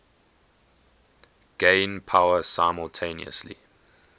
gain power simultaneously